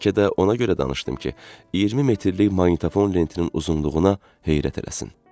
Bəlkə də ona görə danışdım ki, 20 metrlik maqnitofon lentinin uzunluğuna heyrət eləsin.